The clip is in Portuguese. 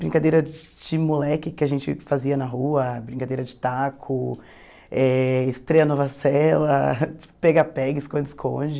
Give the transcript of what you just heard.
Brincadeira de moleque que a gente fazia na rua, brincadeira de taco, eh estreia Nova Sela, pega-pegue, esconde-esconde.